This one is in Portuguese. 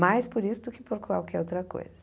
Mais por isso do que por qualquer outra coisa.